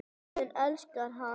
Þjóðin elskar hana.